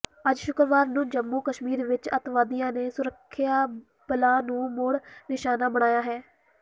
ਅੱਜ ਸ਼ੁੱਕਰਵਾਰ ਨੂੰ ਜੰਮੂ ਕਸ਼ਮੀਰ ਵਿਚ ਅਤਿਵਾਦੀਆਂ ਨੇ ਸੁਰੱਖਿਆ ਬਲਾਂ ਨੂੰ ਮੁੜ ਨਿਸ਼ਾਨਾ ਬਣਾਇਆ ਹੈ